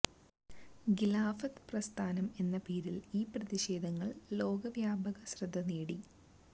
ഖിലാഫത്ത് പ്രസ്ഥാനം എന്ന പേരിൽ ഈ പ്രതിഷേധങ്ങൾ ലോകവ്യാപക ശ്രദ്ധ നേടി